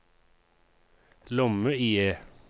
lomme-IE